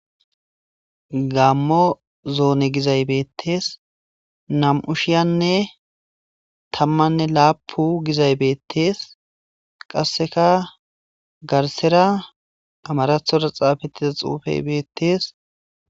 Gammo zoone gizay bettes.nam'u shiyanne tammanne lapu gizay bettees. Qasseka garsara amarathora xapetida xuppey bettes.